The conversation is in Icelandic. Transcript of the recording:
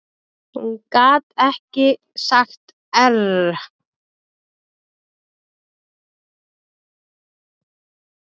Hún gat ekki sagt err.